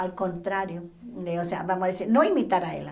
Ao contrário, vamos dizer, não imitar a ela.